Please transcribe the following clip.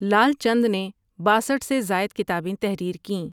لعل چند نے باسٹھ سے زائد کتابیں تحریر کیں ۔